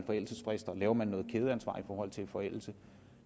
forældelsesfrister laver man noget kædeansvar i forhold til forældelse